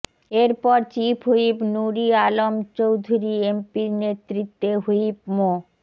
এরপর chief whip Nur e Alam Chowdhury MP এর নেতৃত্বে হুইপ মো